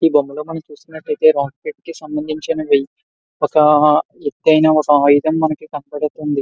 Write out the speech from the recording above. ఈ బొమ్మల్లో మనం చూస్తున్నట్టు అయితే కి సంభందించిన ఒక ఎత్తైన ఆయుధం మనకి కనిపిస్తున్నది.